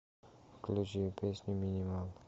включи песню минимал